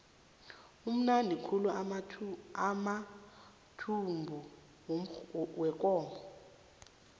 amnandi khulu amathumbu wekomo